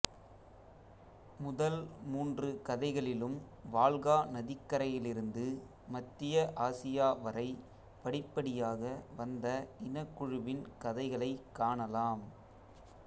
முதல் மூன்று கதைகளிலும் வால்கா நதிக்கரையிலிருந்து மத்திய ஆசியா வரை படிப்படியாக வந்த இனக்குழுவின் கதைகளை காணலாம்